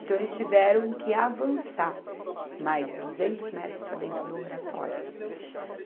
Então, eles tiveram que avançar mais duzentos metros para dentro do Oratório.